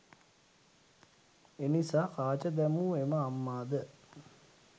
එනිසා කාච දැමූ එම අම්මාද